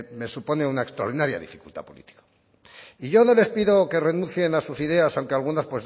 me supone una extraordinaria dificultad política y yo no les pido que renuncien a sus ideas aunque algunas